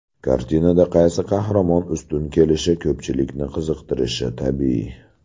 Kartinada qaysi qahramon ustun kelishi ko‘pchilikni qiziqtirishi tabiiy.